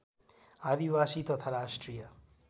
आदिवासी तथा राष्ट्रिय